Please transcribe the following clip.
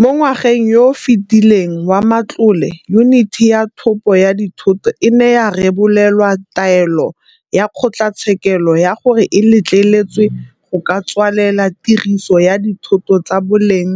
Mo ngwageng yo o fetileng wa matlole Yuniti ya Thopo ya Dithoto e ne ya rebolelwa taelo ya kgotlatshekelo ya gore e letleletswe go ka tswalela tiriso ya dithoto tsa boleng